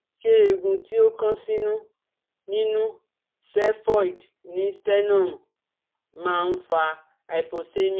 Ṣé eegun ti o kan sinu ninú xephoid ni sternum ma n fa hypoxemia